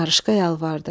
Qarışqa yalvardı.